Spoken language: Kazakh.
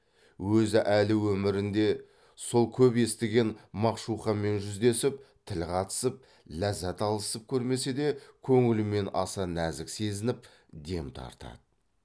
өзі әлі өмірінде сол көп естіген мағшуқамен жүздесіп тіл қатысып ләззат алысып көрмесе де көңілімен аса нәзік сезініп дем тартады